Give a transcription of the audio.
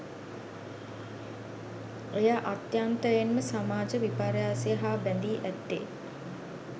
එය අත්‍යන්තයෙන්ම සමාජ විපර්යාසය හා බැදී ඇත්තේ